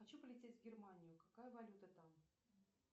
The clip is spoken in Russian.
хочу полететь в германию какая валюта там